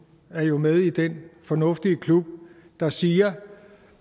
er jo med i den fornuftige klub der siger